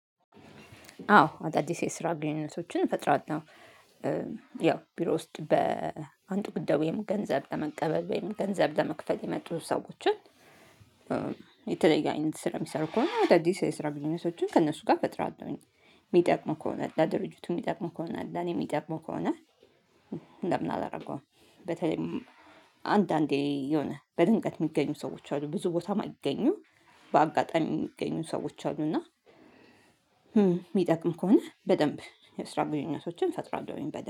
አዎ አዳዲስ የስራ ግንኙነቶችን እፈጥራለሁ። ያው ቢሮ ውስጥ በአንጡጉደው ወይም ገንዘብ ለመቀበል ወይም ገንዘብ ለመክፈት የመጡ ሰዎችን። የተለየ አይነት ስራ የሚሰሩ ከሆነ እንደአዲስ የስራ ግንኙነቶችን ከእነሱ ጋር ፈጥራለሁኝ። የሚጠቅመው ከሆነ ለድርጅቱ የሚጠቅመው ከሆነ እኔ የሚጠቅመው ከሆነ። ለምን አላደርገውም። በተለይም አንዳንዴ የሆነ በድንገት የሚገኙ ሰዎች አሉ ብዙ ቦታም ማይገኙም። በአጋጣሚ የሚገኙ ሰዎች አሉ። እና የሚጠቅም ከሆነ በደንብ የስራ ግንኙነቶችን ፈጥራለሁኝ። በደንብ